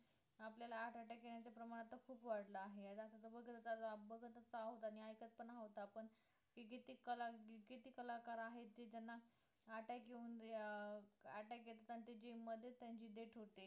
आपल्याला heart attack येण्याचं प्रमाण आता खूप वाढलं आहे तसं बघत भगतच भगतच तर आहोत आणि ऐकत पण आहोत आपण की ते जे ते कला, ते जे ते कलाकार आहेत ते त्यांना attack येऊन अं attack येते आणि जे मध्येच त्यांची death होते